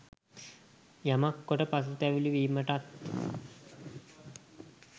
යමක් කොට පසුතැවිලි වීමටත්